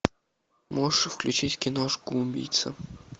можешь включить киношку убийца